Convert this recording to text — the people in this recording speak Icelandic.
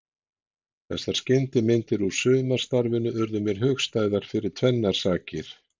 Þessar skyndimyndir úr sumarstarfinu urðu mér hugstæðar fyrir tvennar sakir.